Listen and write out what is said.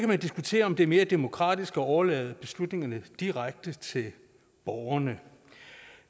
man diskutere om det er mere demokratisk at overlade beslutningerne direkte til borgerne